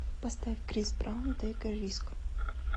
поставь крис браун тэйк э риск